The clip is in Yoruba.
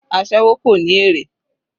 Aséwó kò ní èrè.